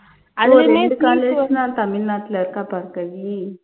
ஓ ரெண்டு college தான் தமிழ்நாட்டுல இருக்கா பார்கவி